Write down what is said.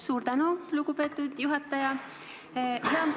Suur tänu, lugupeetud juhataja!